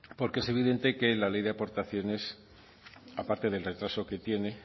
porque es evidente que la ley de aportaciones aparte del retraso que tiene